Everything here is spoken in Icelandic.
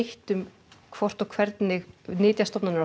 um hvort og hvernig nytjastofnarnir